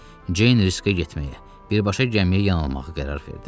Ceyn riskə getməyə, birbaşa gəmiyə yanılmağı qərar verdi.